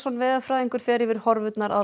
veðurfræðingur fer yfir horfurnar að